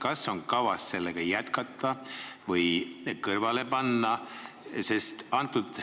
Kas on kavas sellega tööd jätkata või tahetakse see kõrvale panna?